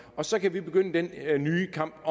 og så kan vi begynde den nye kamp